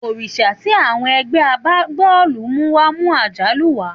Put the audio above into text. Òrìṣà tí àwọn ẹgbẹ́ agbábọ́ọ̀lù mú wá mú àjálù wá.